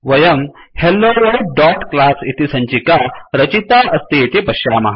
वयं helloworldक्लास इति सञ्चिका रचिता अस्ति इति पश्यामः